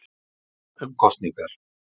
Krafa um kosningar